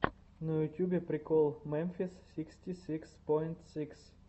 на ютьюбе прикол мемфис сиксти сикс поинт сикс